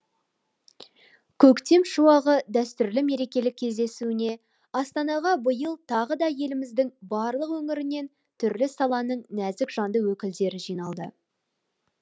көктем шуағы дәстүрлі мерекелік кездесуіне астанаға биыл тағы да еліміздің барлық өңірінен түрлі саланың нәзік жанды өкілдері жиналды